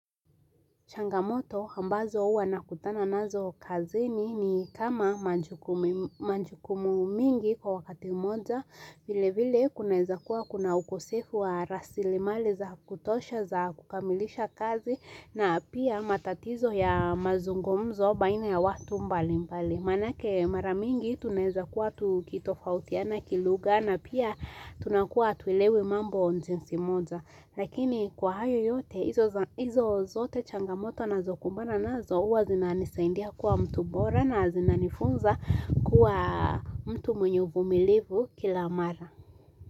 Changamoto ambazo huwa nakutana nazo kazini ni kama majukumu mingi kwa wakati moja, vile vile kunaeza kuwa kuna ukosefu wa rasilimali za kutosha za kukamilisha kazi na pia matatizo ya mazungumzo baina ya watu mbali mbali. Manake mara mingi tunaeza kuwa tukitofautiana kilugha na pia tunakuwa tuilewe mambo jinsi moja. Lakini kwa hayo yote hizo zote changamoto nazokumbana nazokuwa zinanisaidia kuwa mtu bora na zinanifunza kuwa mtu mwenye uvumilivu kila mara.